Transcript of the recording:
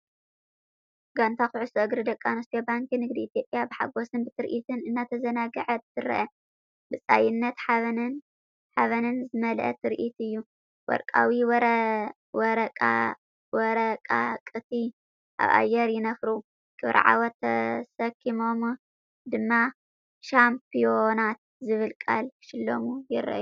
ጋንታ ኩዕሶ እግሪ ደቂ ኣንስትዮ ባንኪ ንግዲ ኢትዮጵያ ብሓጎስን ብትርኢትን እናተዘናግዐት ትርአ። ብጻይነትን ሓበንን ዝመልአ ትርኢት እዩ፤ ወርቃዊ ወረቓቕቲ ኣብ ኣየር ይነፍሩ፡ ክብሪ ዓወት ተሰኪሞም ድማ "ሻምፕዮናት" ዝብል ቃል ክሽለሙ ይረኣዩ።